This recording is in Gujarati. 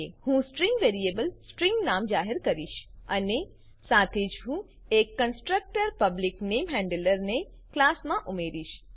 હું સ્ટ્રીંગ વેરીએબલ સ્ટ્રીંગ નામ જાહેર કરીશ અને સાથે જ હું એક કંસ્ટ્રકટર પબ્લિક નેમહેન્ડલર ને ક્લાસમાં ઉમેરીશ